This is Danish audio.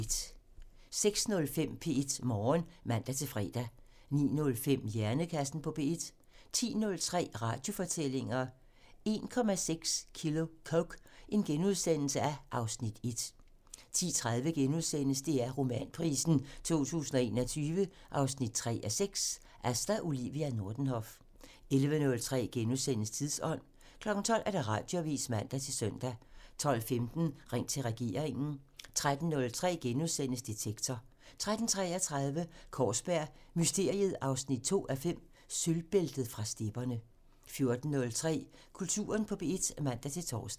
06:05: P1 Morgen (man-fre) 09:05: Hjernekassen på P1 (man) 10:03: Radiofortællinger: 1,6 kilo coke - (Afs. 1)* 10:30: DR Romanprisen 2021 3:6 – Asta Olivia Nordenhof * 11:03: Tidsånd *(man) 12:00: Radioavisen (man-søn) 12:15: Ring til regeringen (man) 13:03: Detektor *(man) 13:33: Kaarsberg Mysteriet 2:5 – Sølvbæltet fra stepperne 14:03: Kulturen på P1 (man-tor)